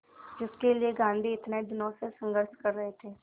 जिसके लिए गांधी इतने दिनों से संघर्ष कर रहे थे